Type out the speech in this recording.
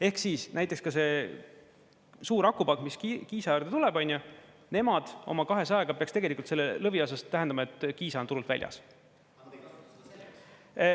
Ehk siis näiteks ka see suur akupank, mis Kiisa äärde tuleb, nemad oma 200-ga peaks tegelikult selle lõviosas tähendama, et Kiisa on turult väljas.